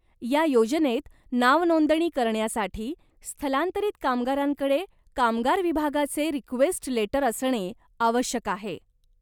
या योजनेत नावनोंदणी करण्यासाठी स्थलांतरित कामगारांकडे कामगार विभागाचे रिक्वेस्ट लेटर असणे आवश्यक आहे.